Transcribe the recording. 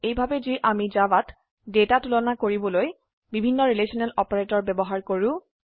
এইভাবে যি আমি জাভাত ডেটা তুলনা কৰিবলৈ বিভিন্ন ৰিলেশনেল অপাৰেটৰ ব্যবহাৰ কৰো